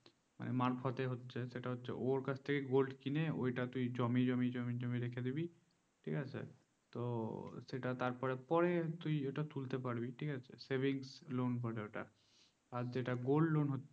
মারফতে হচ্ছে সেটা হচ্ছে ওর কাছ থেকে gold কিনে ওটা তুই জমিয়ে জমিয়ে রেখে দিবি ঠিক আছে তো সেটা তারপরে তুই এটা তুলতে পারবি ঠিক আছে serving loan বলে ওটা আর যেটা gold loan